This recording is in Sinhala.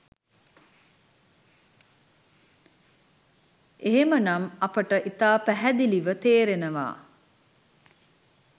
එහෙම නම් අපට ඉතා පැහැදිලිව තේරෙනවා